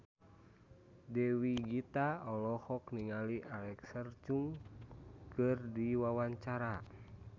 Dewi Gita olohok ningali Alexa Chung keur diwawancara